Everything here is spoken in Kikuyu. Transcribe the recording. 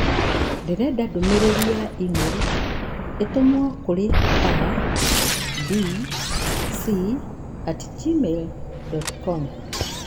Ndĩrenda ndũmĩrĩri ya e-mail ĩtũmwo kũrĩ a. b. c. at gmail dot com